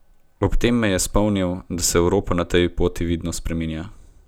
Ob tem je spomnil, da se Evropa na tej poti vidno spreminja.